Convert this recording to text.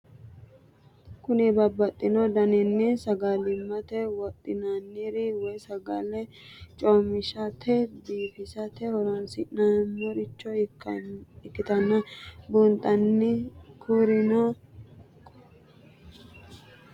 Kuni babaxino danini sagalimate woxinaniri woyi sagali comishatenna bifisate horonsine'morich ikinota bunxana kurino kororimu, waajo qimame, siqonna wolereno hamatare afirate dargati?